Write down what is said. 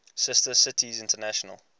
sister cities international